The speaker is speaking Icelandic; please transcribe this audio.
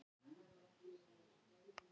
Svo reyndist ekki vera